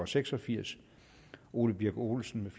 seks og firs ole birk olesen